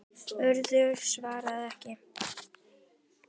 Urður svarað ekki.